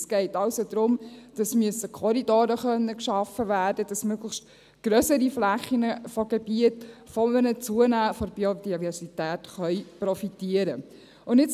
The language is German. Es geht also darum, dass Korridore geschafft werden können müssen, dass möglichst grössere Flächen von Gebieten von einem Zunehmen der Biodiversität profitieren können.